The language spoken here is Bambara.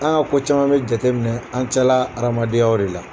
An ka ko caman bɛ jateminɛ an cƐla hadenyaw de la